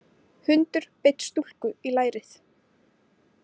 Hundur beit stúlku í lærið